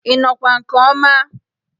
Ị nọkwa nke ọma?